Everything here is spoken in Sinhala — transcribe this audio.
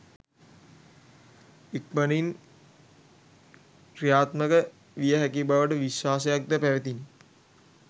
ඉක්මනින්ම කි්‍රයාත්මක විය හැකි බවට විශ්වාසයක්ද පැවතිණි.